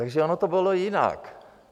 Takže ono to bylo jinak.